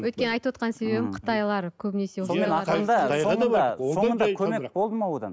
өйткені айтывотқан себебім қытайлар көбінесе көмек болды ма одан